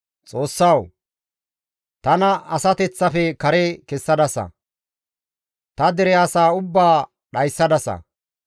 Xoossawu! Tana asateththafe kare kessadasa, ta dere asaa ubbaa dhayssadasa.